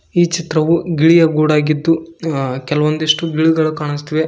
ಈ ಚಿತ್ರವು ಗಿಳಿಯ ಗೂಡಾಗಿದ್ದು ಕೆಲವೊಂದಿಷ್ಟು ಗಿಳಿಗಳು ಕಾಣಿಸ್ತಿವೆ.